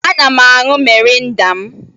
Ana m añyu mịrịnda m